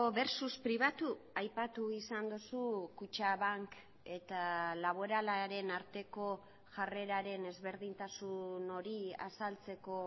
versus pribatu aipatu izan duzu kutxabank eta laboralaren arteko jarreraren ezberdintasun hori azaltzeko